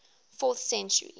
fourth century